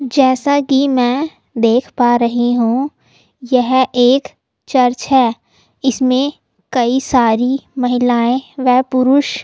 जैसा की में देख पा रही हू यह एक चर्च है इसमें कही सारे महिलायें वा पुरुष --